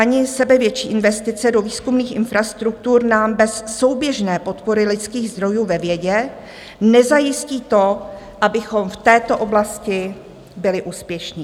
Ani sebevětší investice do výzkumných infrastruktur nám bez souběžné podpory lidských zdrojů ve vědě nezajistí to, abychom v této oblasti byli úspěšní.